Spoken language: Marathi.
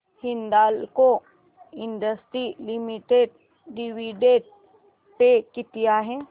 Hindalco Industries Limited dividend pay किती आहे